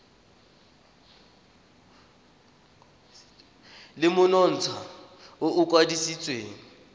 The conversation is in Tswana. le monontsha o o kwadisitsweng